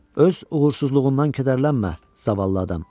Öz uğursuzluğundan kədərlənmə, zavallı adam.